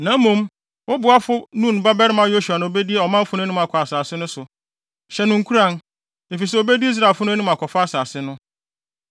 Na mmom, wo boafo Nun babarima Yosua na obedi ɔmanfo no anim akɔ asase no so. Hyɛ no nkuran, efisɛ obedi Israelfo no anim akɔfa asase no.